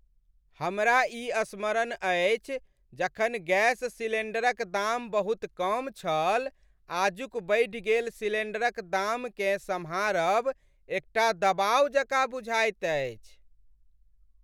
हमरा ई स्मरण अछि जखन गैस सिलेंडरक दाम बहुत कम छल। आजुक बढ़ि गेल सिलेंडरक दाम केँ सम्हारब एकटा दबाव जकाँ बुझाइत अछि।